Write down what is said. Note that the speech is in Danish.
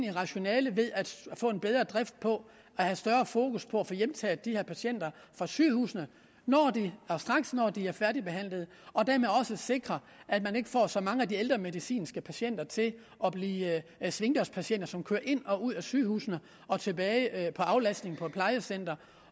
et rationale ved at få en bedre drift på at have større fokus på at få hjemtaget de her patienter fra sygehusene straks når de er færdigbehandlet og dermed også sikre at man ikke får så mange af de ældre medicinske patienter til at blive svingdørspatienter som kører ind og ud af sygehusene og tilbage i aflastning på et plejecenter